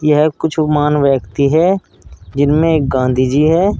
यह कुछ महान व्यक्ति है जिनमें एक गांधी जी है।